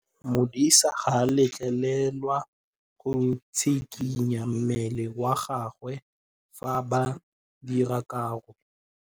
Modise ga a letlelelwa go tshikinya mmele wa gagwe fa ba dira karô.